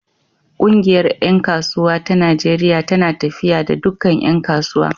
Ƙungiyar ƴan kasuwa ta Najeriya tana tafiya da dukkan ƴan kasuwa.